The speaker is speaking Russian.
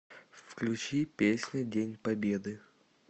включи песня день победы